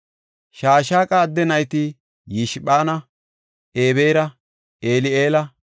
Shashaqa adde nayti Yishphana, Ebeera, Eli7eela,